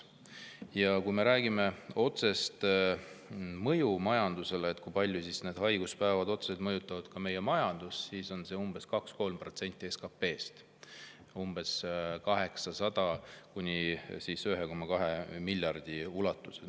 Ja kui me räägime sellest, kui palju need haiguspäevad otseselt mõjutavad meie majandust, siis on see umbes 2% või 3% SKP‑st, 800 kuni 1,2 miljardi euro ulatuses.